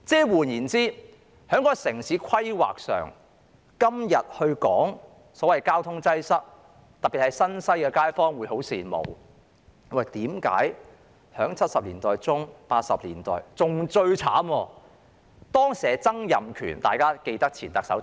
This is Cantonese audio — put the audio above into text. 換言之，在城市規劃上，今日說到所謂交通擠塞，其實當年特別是新界西的街坊十分羨慕，為何1970年代中至1980年代......